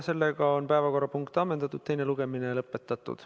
Seega päevakorrapunkt on ammendatud, teine lugemine lõpetatud.